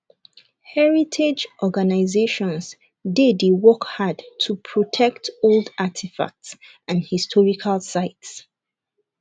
heritage organizations dey dey work hard to protect old artifacts and historical sites